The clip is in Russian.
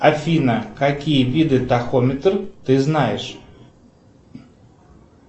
афина какие виды тахометр ты знаешь